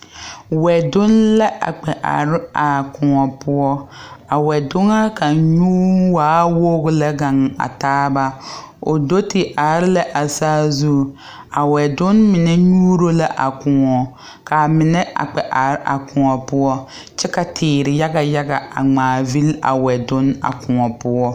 Wɛdonne la a kpɛ are a kõɔ poɔ a wɛdoŋa kaŋ nyuu waa woɡi lɛ ɡaŋ a taaba o do te are la a saazuŋ a wɛdonne mine nyuuro la a kõɔ ka a mine a kpɛ are a kõɔ poɔ kyɛ ka teere yaɡa yaɡa a ŋmaavili a wɛdonne a kõɔ poɔ.